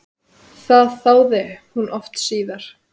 Það þáði hún oft síðar.